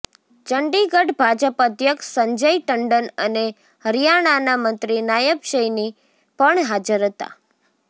ચંડીગઢ ભાજપ અધ્યક્ષ સંજય ટંડન અને હરિયાણાના મંત્રી નાયબ સૈની પણ હાજર હતા